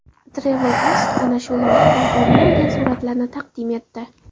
TravelAsk ana shu loyihadan o‘rin olgan suratlarni taqdim etdi .